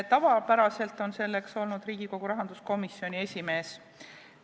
Tavapäraselt on selleks olnud Riigikogu rahanduskomisjoni esimees.